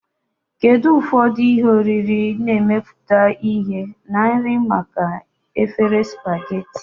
Kedu ụfọdụ ihe oriri na-emepụta ihe na nri maka efere spaghetti?